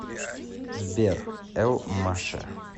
сбер эл маше